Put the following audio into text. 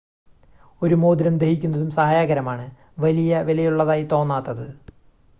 ഒരു മോതിരം ധരിക്കുന്നതും സഹായകരമാണ് വലിയ വിലയുള്ളതായി തോന്നാത്തത്